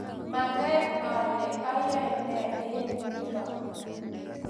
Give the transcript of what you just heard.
manget ale ayoe ne eng' nito